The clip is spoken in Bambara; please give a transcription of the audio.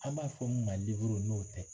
An b'a fɔ ma n'o tɛ